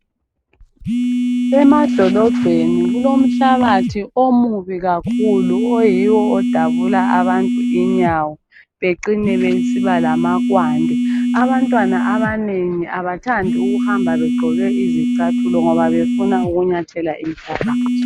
Emadolobheni kulomhlabathi omubi kakhulu oyiwo odabula abantu inyawo becine besiba lamakwande. Abantwana abanengi abathandi ukuhamba begqoke izicathulo ngoba befuna ukunyathela inhlabathi.